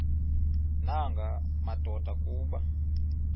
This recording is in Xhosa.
nanga madoda kuba